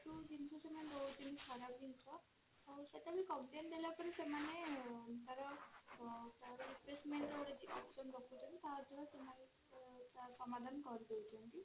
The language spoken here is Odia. ଯଉ ଜିନିଷ ସେମାନେ ଦଉଛନ୍ତି ଖରାପ ଜିନିଷ ଆଉ ସେଟା ବି complain ଦେଲା ପରେ ସେମାନେ ତାର ଅ replacement option ସେମାନେ ତାର ସମାଧାନ କରିଦଉଛନ୍ତି